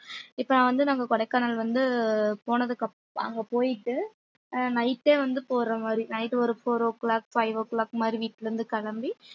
இப்ப வந்து நாங்க கொடைக்கானல் வந்து போனதுக்கு அப்~ அங்க போயிட்டு ஆஹ் night ஏ வந்து போற மாதிரி night ஒரு four o'clockfive o'clock மாதிரி வீட்டுல இருந்து கிளம்பி